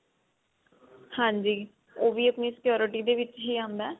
ਹਾਂਜੀ ਉਹ ਵੀ ਆਪਣੀ security ਦੇ ਵਿੱਚ ਹੀ ਆਉਂਦਾ